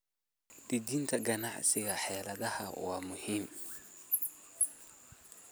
Dejinta xeeladaha ganacsiga waa muhiim.